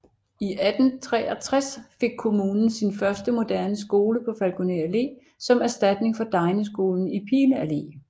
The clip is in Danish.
I 1863 fik kommunen sin første moderne skole på Falkoner Allé som erstatning for degneskolen i Pile Allé